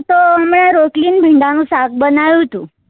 તો મેં રોટલી ન ભીંડા નું શાક બનાવ્યું હતું